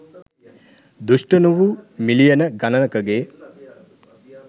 දුෂ්ට නොවූ මිලියන ගණනකගේ